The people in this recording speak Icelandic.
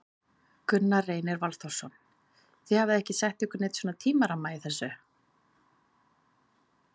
Gunnar Reynir Valþórsson: Þið hafið ekki sett ykkur neinn svona tímaramma í þessu?